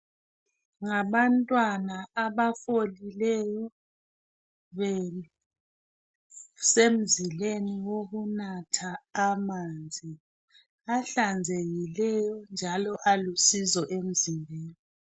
Ngabantwana abafolileyo besemzileni wokunatha amanzi ahlanzekileyo. Njalo alusizo emzimbeni.